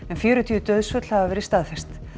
en fjörutíu dauðsföll hafa verið staðfest